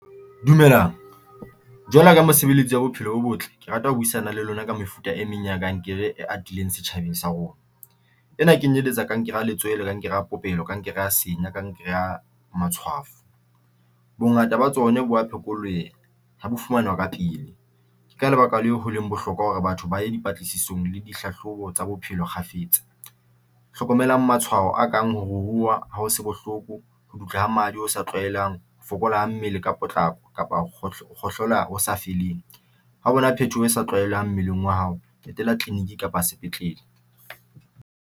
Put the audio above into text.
Dumelang jwalo ka mosebeletsi wa bophelo bo botle. Ke rata ho buisana le lona ka mefuta e meng ya kankere e atileng setjhabeng sa rona ena kenyeletsa kankere ya letswele, kankere a popelo kankere, kankere senya, kankere ya matshwafo. Bongata ba tsona bo a phekoleha ena ha bo ka pele, ka lebaka leo, holeng bohlokwa hore batho ba e dipatlisisong le dihlahlobo tsa bophelo kgafetsa. Hlokomelang matshwao a kang ho ruruha ha ho se bohloko ho ha madi o sa tlwaelang ho fokolang mmele ka potlako kapa ho kgohlola ho sa feleng, ha hona phethoho sa tlwaelehang mmeleng wa hao etela tleliniki kapa sepetlele.